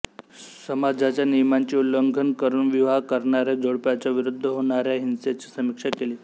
समाजाच्या नियमांचे उल्ल्घंन् करून् विवाह करणारे जोड्प्याच्या विरुद्ध होणार् हिंसेची समीक्षा केली